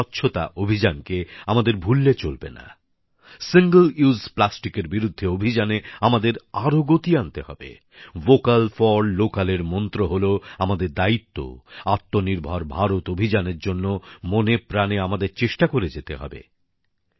যেরকম স্বচ্ছতা অভিযান কে আমাদের ভুললে চলবেনা একবার ব্যবহারযোগ্য প্লাস্টিকের বিরুদ্ধে অভিযানে আমাদের আরও গতি আনতে হবে ভোকাল ফর লোকাল এর মন্ত্র হলো আমাদের দায়িত্ব আত্মনির্ভর ভারত অভিযানের জন্য মনে প্রাণে আমাদের চেষ্টা করে যেতে হবে